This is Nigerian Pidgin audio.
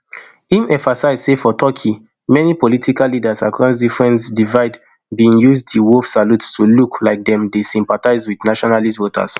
im emphasise say for turkey many political leaders across different divide bin use di wolf salute to look like dem dey sympathise wit nationalist voters